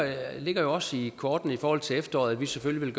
ligger også i kortene i forhold til efteråret at vi selvfølgelig vil